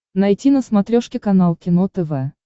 найти на смотрешке канал кино тв